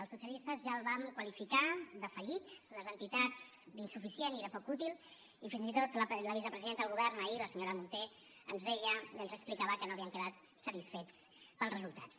els socialistes ja el vam qualificar de fallit les entitats d’insuficient i de poc útil i fins i tot la vicepresidenta del govern ahir la senyora munté ens deia i ens explicava que no havien quedat satisfets pels resultats